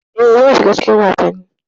E, zan shiga cikin wasannin.